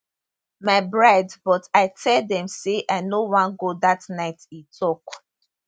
my bride but i tell dem say i no wan go dat night e tok